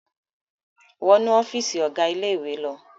Wọ inú ọ́fíísì ọ̀gá ilé-ìwé lọ!